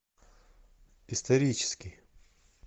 исторический